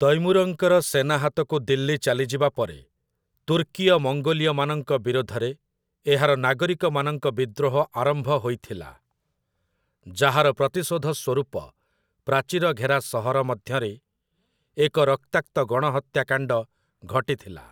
ତୈମୁରଙ୍କର ସେନା ହାତକୁ ଦିଲ୍ଲୀ ଚାଲିଯିବା ପରେ, ତୁର୍କୀୟ ମଙ୍ଗୋଲୀୟମାନଙ୍କ ବିରୋଧରେ ଏହାର ନାଗରିକମାନଙ୍କ ବିଦ୍ରୋହ ଆରମ୍ଭ ହୋଇଥିଲା, ଯାହାର ପ୍ରତିଶୋଧ ସ୍ୱରୂପ ପ୍ରାଚୀର ଘେରା ସହର ମଧ୍ୟରେ ଏକ ରକ୍ତାକ୍ତ ଗଣହତ୍ୟାକାଣ୍ଡ ଘଟିଥିଲା ।